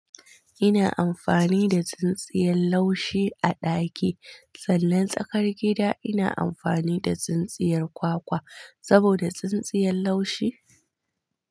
Ina amfani da tsintsiyar laushi a ɗaki sannan tsakar gida ina amfani da tsintsiyar kwakwa saboda tsintsiyar laushi.